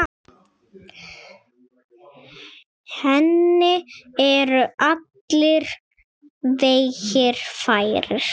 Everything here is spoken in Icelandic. Henni eru allir vegir færir.